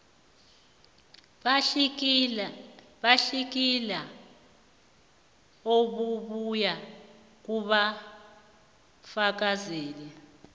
batlikitlelwa obubuya kubafakazeli